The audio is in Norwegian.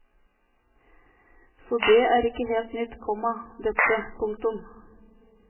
Så det er ikke helt nytt, komma dette. punktum